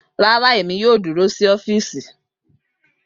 Rara Emi yoo duro si ọfiisi